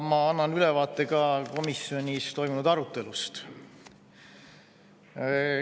Ma annan ülevaate ka komisjonis toimunud arutelust.